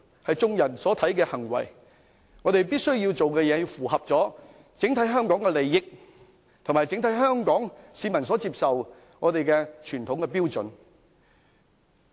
我們所做的事必須符合香港的整體利益，以及香港整體市民所接受的傳統標準。